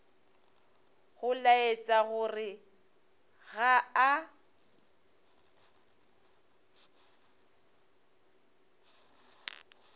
go laetša gore ga a